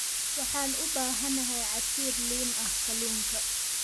Waxaan u baahanahay casiir liin ah kalluunka.